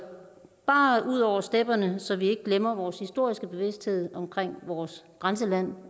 bare ud over stepperne så vi ikke glemmer vores historiske bevidsthed omkring vores grænseland